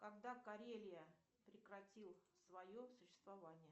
когда карелия прекратил свое существование